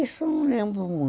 Isso eu não lembro muito.